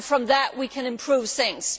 From that we can improve things.